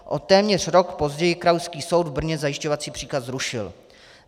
O téměř rok později krajský soud v Brně zajišťovací příkaz zrušil.